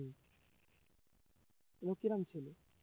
ও কি রকম ছেলে